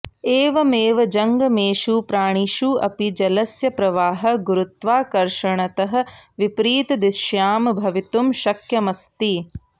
एवमेव जंगमेषु प्राणिषु अपि जलस्य प्रवाहः गुरुत्वाकर्षणतः विपरीत दिश्यां भवितुं शक्यमस्ति